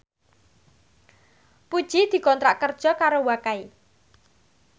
Puji dikontrak kerja karo Wakai